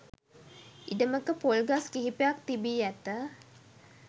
ඉඩමක පොල් ගස් කිහිපයක් තිබී ඇත